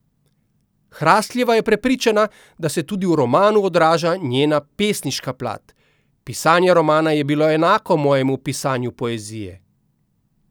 Hrasteljeva je prepričana, da se tudi v romanu odraža njena pesniška plat: 'Pisanje romana je bilo enako mojemu pisanju poezije.